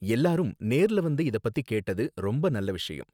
எல்லாரும் நேர்ல வந்து இத பத்தி கேட்டது ரொம்ப நல்ல விஷயம்